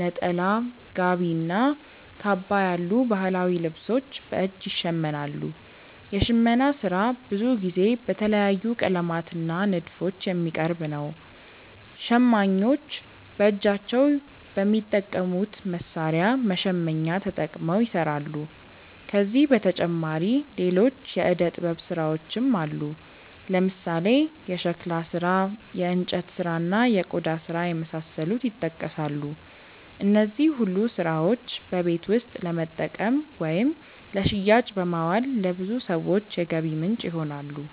ነጠላ፣ ጋቢ እና ካባ ያሉ ባህላዊ ልብሶች በእጅ ይሸመናሉ። የሽመና ስራ ብዙ ጊዜ በተለያዩ ቀለማት እና ንድፎች የሚቀርብ ነው። ሸማኞች በእጃቸው በሚጠቀሙት መሣሪያ (መሸመኛ)ተጠቅመው ይሰራሉ። ከዚህ በተጨማሪ ሌሎች የእደ ጥበብ ስራዎችም አሉ፦ ለምሳሌ የሸክላ ስራ፣ የእንጨት ስራ፣ እና የቆዳ ስራ የመሳሰሉት ይጠቀሳሉ። እነዚህ ሁሉ ስራዎች በቤት ውስጥ ለመጠቀም ወይም ለሽያጭ በማዋል ለብዙ ሰዎች የገቢ ምንጭ ይሆናሉ።